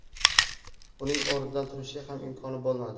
Uning o‘rnidan turishga ham imkoni bo‘lmadi.